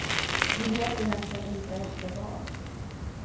De vet egentligen inte efter vad.